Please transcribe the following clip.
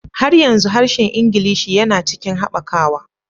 Har yanzu harshen Ingilishi yana cikin haɓakawa